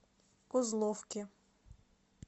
козловке